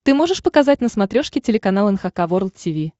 ты можешь показать на смотрешке телеканал эн эйч кей волд ти ви